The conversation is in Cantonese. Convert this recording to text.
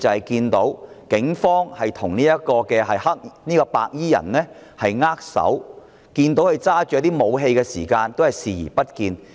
警方甚至與白衣人握手，即使看到白衣人手握武器，他們亦視而不見。